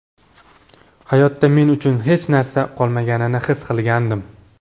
Hayotda men uchun hech narsa qolmaganini his qilgandim”.